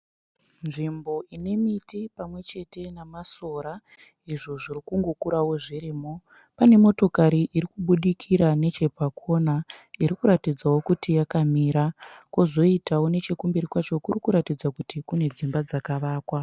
Nzvimbo ine miti pamwe chete namasora izvo zviri kungokurawo zvirimo. Pane motokari iri kubudikira nechepakona irikuratidzawo kuti yakamira. Kwozoitawo nechekumberi kwacho kuri kuratidza kuti kune dzimba dzakavakwa.